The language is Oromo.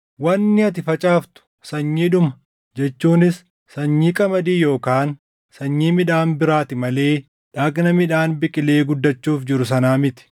Wanni ati facaaftu sanyiidhuma, jechuunis sanyii qamadii yookaan sanyii midhaan biraati malee dhagna midhaan biqilee guddachuuf jiru sanaa miti.